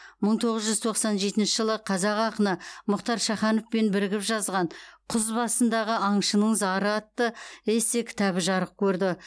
мың тоғыз жүз тоқсан жетінші жылы қазақ ақыны мұхтар шахановпен бірігіп жазған құз басындағы аңшының зары атты эссе кітабы жарық көрді